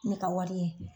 Ne ka wari ye